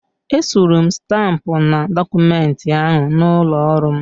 Esuru m stampụ na dọkụmenti ahụ n'ụlọ ọrụ m.